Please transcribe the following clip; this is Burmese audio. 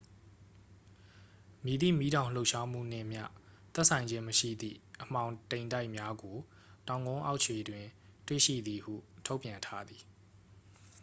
မည်သည့်မီးတောင်လှုပ်ရှားမှုနှင့်မျှ သက်ဆိုင်ခြင်းမရှိသည့် အမှောင်တိမ်တိုက်များကို တောင်ကုန်းအောက်ခြေတွင် တွေ့ရှိသည်ဟု ထုတ်ပြန်ထားသည်